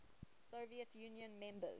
soviet union members